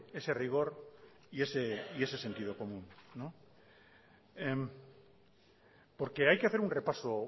ese rigor y ese sentido común porque hay que hacer un repaso